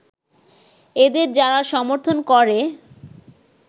এদের যারা সমর্থন করে